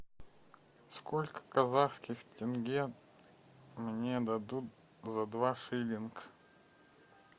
сколько казахских тенге мне дадут за два шиллинг